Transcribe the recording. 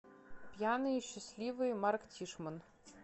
пьяные счастливые марк тишман